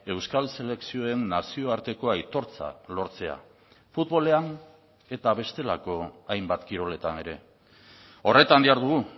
euskal selekzioen nazioarteko aitortza lortzea futbolean eta bestelako hainbat kiroletan ere horretan dihardugu